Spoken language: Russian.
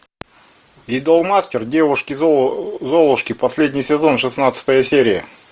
идолмастер девушки золушки последний сезон шестнадцатая серия